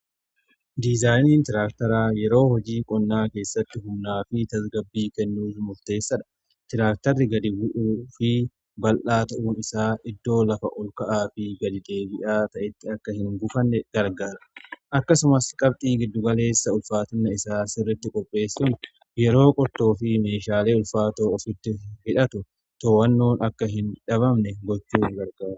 Diizaayiniin tiraaktaraa yeroo hojii qonnaa keessatti humnaa fi tasgabbii kennuu murteessadha. Tiraaktarri gadi bu'u fi bal'aa ta'uun isaa iddoo lafa ol ka'aa fi gadi-deebi'aa ta'etti akka hin gufanne gargaara. Akkasumas qabxii giddugaleessa ulfaatina isaa sirritti qopheessun yeroo qurtoo fi meeshaalee ulfaatoo ofitti hidhatu to'annoon akka hin dhabamne gochuu ni gargaara.